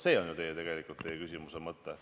See on ju tegelikult teie küsimuse mõte.